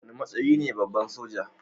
Wane matsayi ne babba a soja?